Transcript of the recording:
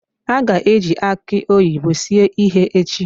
A ga-eji aki oyibo sie ihe echi.